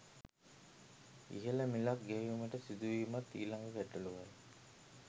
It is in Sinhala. ඉහළ මිලක් ගෙවීමට සිදුවීමත් ඊළඟ ගැටලූවයි